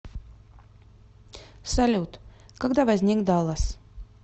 салют когда возник даллас